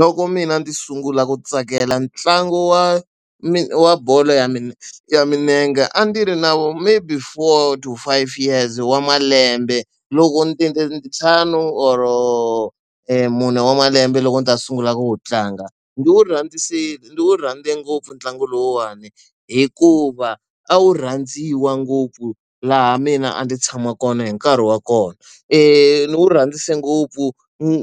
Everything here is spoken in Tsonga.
Loko mina ndzi sungula ku tsakela ntlangu wa wa bolo ya ya milenge a ndzi ri na vo maybe four to five years wa malembe, loko ndzi ntlhanu or-o mune wa malembe loko ndzi ta sungula ku wu tlanga. Ndzi wu ndzi wu rhandze ngopfu ntlangu lowuwani hikuva a wu rhandziwa ngopfu laha mina a ndzi tshama kona hi nkarhi wa kona. Ni wu rhandze ngopfu